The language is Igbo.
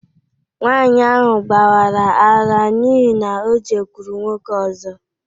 Nwanyị ahụ gbawara ara n’ihi na O jekwuru nwoke ọzọ.